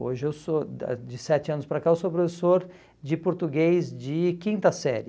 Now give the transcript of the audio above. Hoje, eu sou da de sete anos para cá, eu sou professor de português de quinta série.